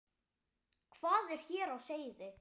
Hvað er hér á seyði?